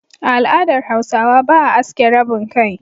A al'adar Hausawa, ba a aske rabin kai.